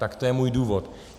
Tak to je můj důvod.